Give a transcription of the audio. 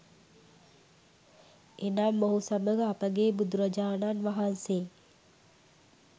එනම් මොහු සමඟ අපගේ බුදුරජාණන් වහන්සේ